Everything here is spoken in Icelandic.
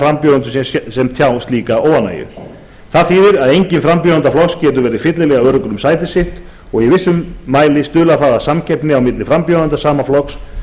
frambjóðendur sem tjá slíka óánægju það þýðir að enginn frambjóðenda flokks getur verið fyllilega öruggur um sitt sæti og í vissum mæli stuðlar það að samkeppni á milli frambjóðenda sama flokks